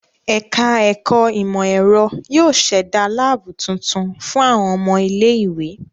Ẹ̀ka ẹ̀kọ ìmọ̀-ẹ̀rọ yóó ṣẹ̀da láàbù tuntun fún àwọn ọmọ ilé-ìwé.